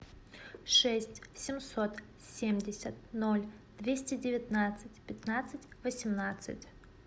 шесть семьсот семьдесят ноль двести девятнадцать пятнадцать восемнадцать